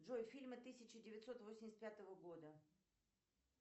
джой фильмы тысяча девятьсот восемьдесят пятого года